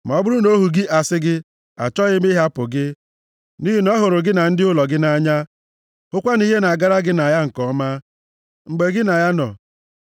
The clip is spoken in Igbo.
Ma ọ bụrụ na ohu gị asị gị, “Achọghị m ịhapụ gị,” nʼihi na ọ hụrụ gị na ndị ụlọ gị nʼanya, hụkwa na ihe na-agara gị na ya nke ọma, mgbe gị na ya nọ.